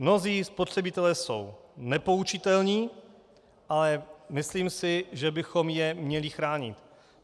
Mnozí spotřebitelé jsou nepoučitelní, ale myslím si, že bychom je měli chránit.